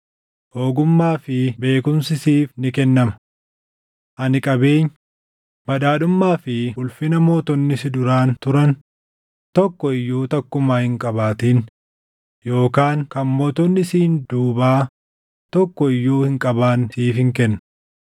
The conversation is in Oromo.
ogummaa fi beekumsi siif ni kennama. Ani qabeenya, badhaadhummaa fi ulfina mootonni si duraan turan tokko iyyuu takkumaa hin qabaatin yookaan kan mootonni siin duubaa tokko iyyuu hin qabaanne siifin kenna.”